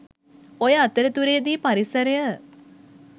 ඔය අතරතුරේදී පරිසරය